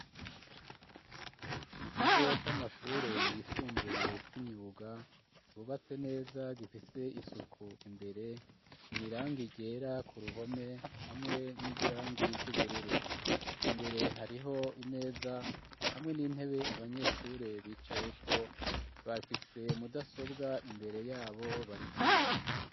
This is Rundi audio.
Mu kigo c'amashure yisumbuye c'imyuga, ryubatse neza gifise isuku, imbere nirangi ryera, ku ruhome hamwe n'igirangi ry'ubururu ,imbere hariho imeza, hamwe n'intebe abanyeshure bicayeko bafise mudasobwa imbere yabo, barikwiga.